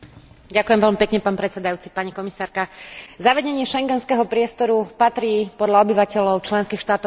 Zavedenie schengenského priestoru patrí podľa obyvateľov členských štátov Európskej únie medzi náš najväčší úspech.